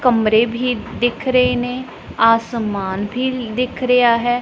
ਕਮਰੇ ਭੀ ਦਿੱਖ ਰਹੇ ਨੇਂ ਆਸਮਾਨ ਭੀ ਦਿੱਖ ਰਿਹਾ ਹੈ।